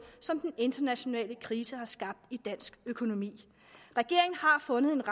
som den internationale krise har skabt i dansk økonomi regeringen har fundet en